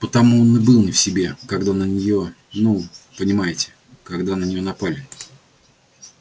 потому он и был не в себе когда на нее ну понимаете когда на нее напали